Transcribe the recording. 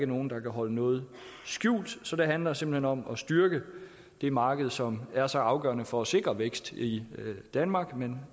nogen der kan holde noget skjult så det handler simpelt hen om at styrke det marked som er så afgørende for at sikre vækst i danmark men